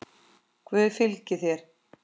Guð fylgi þér.